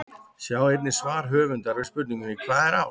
Sjá einnig svar höfundar við spurningunni Hvað er ást?